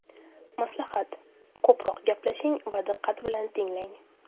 Maslahat: Ko‘proq gaplashing va diqqat bilan tinglang!